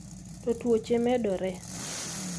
to tuoche medore,